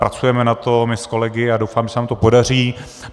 Pracujeme na tom my s kolegy a doufám, že se nám to podaří.